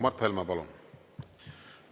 Mart Helme, palun!